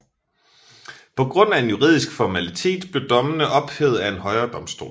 Pga en juridisk formalitet blev dommene ophævet af en højere domstol